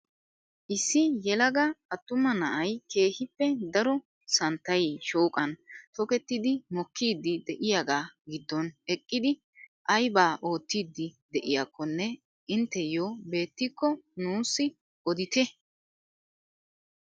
Issi yelaga attuma na'ay keehippe daro santtay shooqan tokettidi mokkiidi de'iyaagaa giddon eqqidi aybaa oottiidi de'iyakonne inteyoo beettikko nuusi odite?